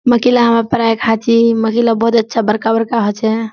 मकई ला हमरा पराय खाछी मकई ला बहुत अच्छा बड़का-बड़का होछे।